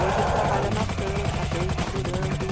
Hoje ele trabalha na Tam, está bem, está adorando.